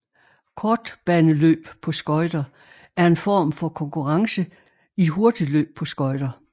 Kortbaneløb på skøjter er en form for konkurrence i hurtigløb på skøjter